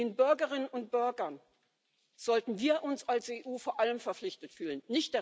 Ihnen, den Bürgerinnen und Bürgern, sollten wir uns als EU vor allem verpflichtet fühlen.